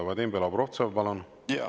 Vadim Belobrovtsev, palun!